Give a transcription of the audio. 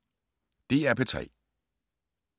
DR P3